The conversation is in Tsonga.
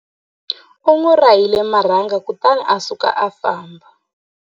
U n'wi rahile marhanga kutani a suka a famba.